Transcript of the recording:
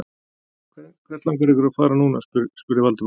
Hvert langar ykkur að fara núna? spurði Valdimar.